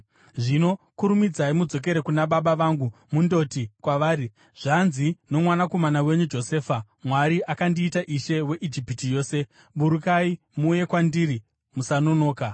Zvino kurumidzai mudzokere kuna baba vangu mundoti kwavari, ‘Zvanzi nomwanakomana wenyu Josefa: Mwari akandiita ishe weIjipiti yose. Burukai muuye kwandiri; musanonoka.